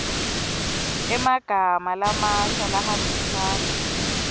emagama lamasha lahambisana